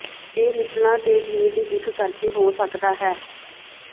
ਇਹ ਨਿਪਲਾਂ ਤੇ ਚੀਰ ਦੀ ਦਿੱਖ ਕਰਕੇ ਹੋ ਸਕਦਾ ਹੈ